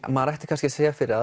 maður ætti kannski að segja fyrir